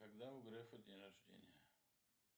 когда у грефа день рождения